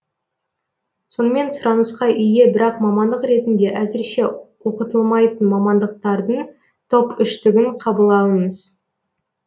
сонымен сұранысқа ие бірақ мамандық ретінде әзірше оқытылмайтын мамандықтардың топ үштігін қабыл алыңыз